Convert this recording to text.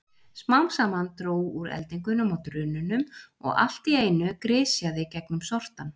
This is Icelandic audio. Smám saman dró úr eldingunum og drununum og allt í einu grisjaði gegnum sortann.